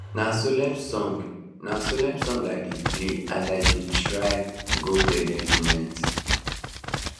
na solemn song na solemn song i dey play as i dey try go bed every night